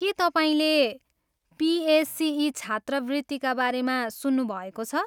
के तपाईँले पिएसिई छात्रवृत्तिका बारेमा सुन्नुभएको छ?